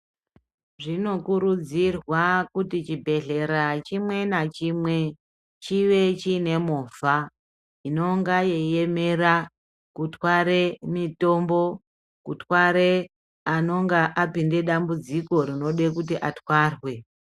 Zvinokurudzirwa kuti chibhedhlera chimwe nachimwe chive chine movha inonga yeiemera kutware mitombo, kutware anonga apinde dambudziko rinode kuti atwarwe.